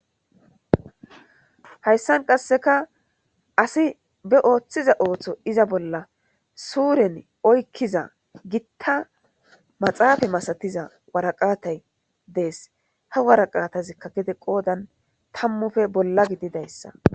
Hayssan qasseka asi be ooththiza ooththo iza bolla suuren oykkiza gitta maxaafa masatiza waraqaatay dees. Ha waraqatazikka gede qoodan tammufe bolla gididayssa.